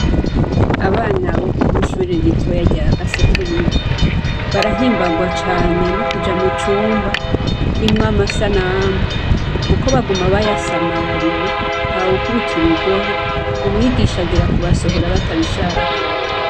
Abana bo kw'ishure ritoya rya Gasekebuye barahimbagwa cane no kuja mu cumba kirimwo amasanamu, kuko baguma bayasamariye. Ntawukubita urugohe. Umwigisha agera kubasohora batabishaka.